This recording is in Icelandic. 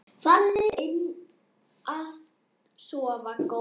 Farðu inn að sofa góði.